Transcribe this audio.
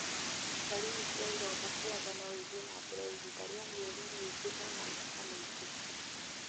Ndariri cia ironda cia nda no ithiĩ na mbere ihinda rĩa mĩeri mĩingĩ o na mĩaka mĩingĩ.